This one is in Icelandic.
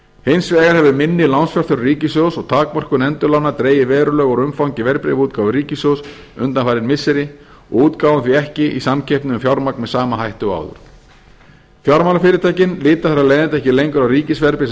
hins vegar hefur minni lánsfjárþörf ríkissjóðs og takmörkun endurlána dregið verulega úr umfangi verðbréfaútgáfu ríkissjóðs undanfarin missiri og útgáfan því ekki í samkeppni um fjármagn með sama hætti og áður fjármálafyrirtækin líta að ekki lengur á ríkisverðbréf sem